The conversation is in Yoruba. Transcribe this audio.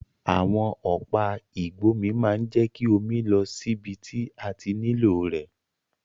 Àwon ọ̀pá ìgbómi ma n je ki omi lọ síbi ti a ti nílò rẹ̀